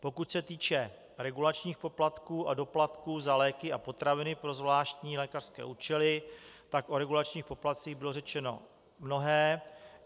Pokud se týče regulačních poplatků a doplatků za léky a potraviny pro zvláštní lékařské účely, tak o regulačních poplatcích bylo řečeno mnohé.